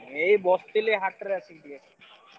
ଏଇ ବସିଥିଲି ହାଟରେ ଅଛି ଟିକେ।